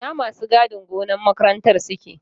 Ina masu gadin gonar makarantar suke?